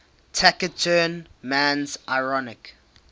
taciturn man's ironic